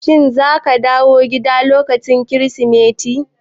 Shin zaka dawo gida ne lokacin Kirsimeti?